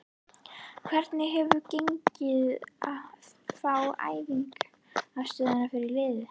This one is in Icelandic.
Hvernig hefur gengið að fá æfingaaðstöðu fyrir liðið?